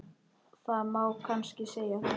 Það má kannski segja það.